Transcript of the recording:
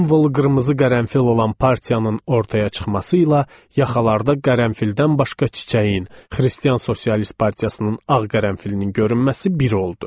Simvolu qırmızı qərənfil olan partiyanın ortaya çıxmasıyla yaxalarda qərənfildən başqa çiçəyin, xristian sosialist partiyasının ağ qərənfilinin görünməsi bir oldu.